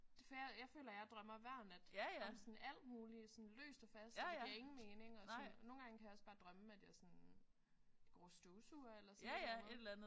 Det for jeg jeg føler jeg drømmer hver nat. Om sådan alt muligt sådan løst og fast og det giver ingen mening og sådan. Nogle gange kan jeg også bare drømme at jeg er sådan går og støvsuger eller sådan et eller andet